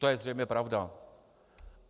To je zřejmě pravda.